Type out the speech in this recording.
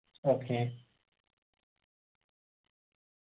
okay